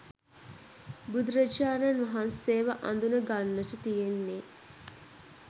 බුදුරජාණන් වහන්සේව අඳුනගන්නට තියෙන්නේ